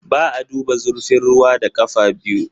Ba a duba zurfin ruwa da ƙafa biyu.